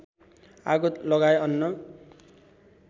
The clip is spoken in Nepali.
आगो लगाए अन्न